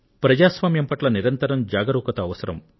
ప్రజాస్వామ్యం పట్ల నిరంతరం జాగరూకత అవసరం